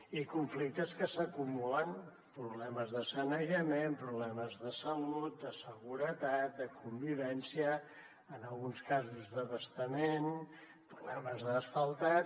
i conflictes que s’acumulen problemes de sanejament problemes de salut de seguretat de convivència en alguns casos d’abastament problemes d’asfaltat